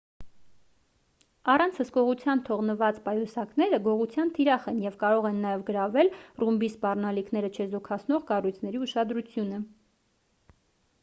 առանց հսկողության թողնված պայուսակները գողության թիրախ են և կարող են նաև գրավել ռումբի սպառնալիքները չեզոքացնող կառույցների ուշադրությունը